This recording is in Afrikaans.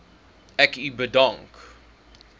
ek u bedank